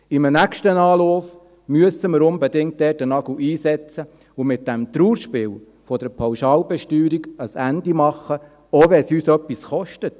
In einem nächsten Anlauf müssen wir da unbedingt einen Nagel einschlagen und diesem Trauerspiel der Pauschalbesteuerung ein Ende setzen, auch wenn es uns etwas kostet.